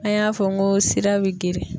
An y'a fɔ n ko sira bɛ geren.